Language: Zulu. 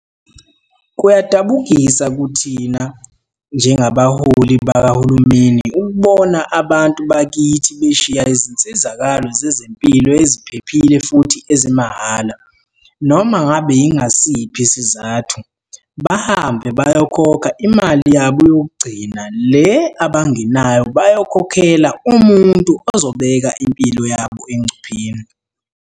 "Kuyadabukisa kithina njengabaholi bakahulumeni ukubona abantu bakithi beshiya izinsizakalo zezempilo eziphephile futhi ezimahhala, noma ngabe yingasiphi isizathu, bahambe bayokhokha imali yabo yokugcina le abangenayo bayokhokhela umuntu ozobeka impilo yabo engcupheni."